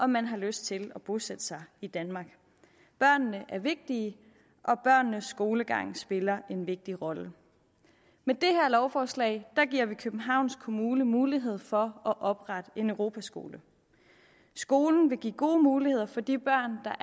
man har lyst til at bosætte sig i danmark børnene er vigtige og børnenes skolegang spiller en vigtig rolle med det her lovforslag giver vi københavns kommune mulighed for at oprette en europaskole skolen vil give gode muligheder for de børn der